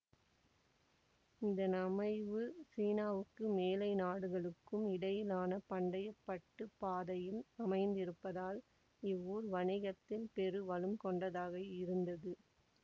இதன் அமைவு சீனாவுக்கும் மேலை நாடுகளுக்கும் இடையிலான பண்டைய பட்டுப் பாதையில் அமைந்திருப்பதால் இவ்வூர் வணிகத்தில் பெரு வளம் கொண்டதாக இருந்தது